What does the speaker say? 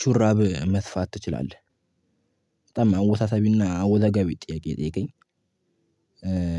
ሹራብ መስፋት ትችላለህ በጣም አወሳሳቢና አወዛጋቢ ጥያቄ ነው ነጠየከኝ።